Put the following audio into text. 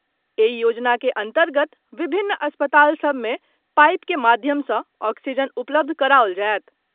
एहि योजना के अन्तर्गत विभिन्न अस्पताल सभ मे पाईप के माध्यम सँ ऑक्सीजन उपलब्ध कराओल जायत।